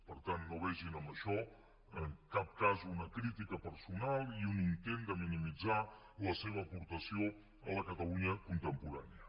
per tant no vegin en això en cap cas una crítica personal i un intent de minimitzar la seva aportació a la catalunya contemporània